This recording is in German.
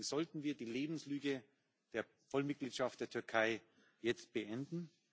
Deswegen sollten wir die Lebenslüge der Vollmitgliedschaft der Türkei jetzt beenden.